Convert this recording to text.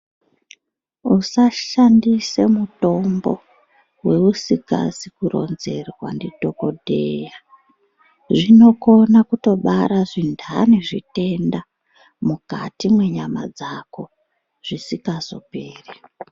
Usashandise mutombo wousikazi kurinzerwa ndidhogodheya. Zvinokona kutobara zvindani zvitenda mukati mwenyama dzako, zvisingazoperi.